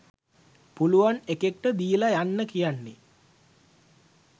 පුළුවන් එකෙක්ට දීල යන්න කියන්නේ.